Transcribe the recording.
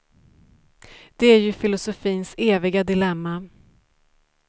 Det är ju filosofins eviga dilemma.